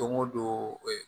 Don o don